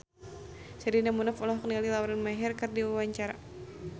Sherina Munaf olohok ningali Lauren Maher keur diwawancara